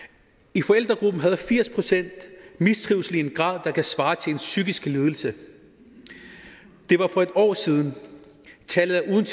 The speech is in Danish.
i forældregruppen havde firs procent mistrivsel i en grad der kan svare til en psykisk lidelse det var for et år siden tallet er uden